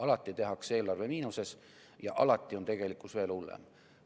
Alati tehakse eelarve miinuses ja alati on tegelikkus veel hullem.